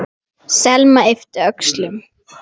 Selma yppti öxlum.